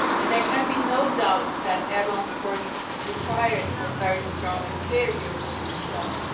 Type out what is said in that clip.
There can be no doubt that Erdoğan's course requires a very strong and clear European response.